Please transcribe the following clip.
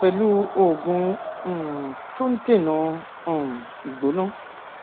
pẹlú oògùn um tó ń dènà um ìgbóná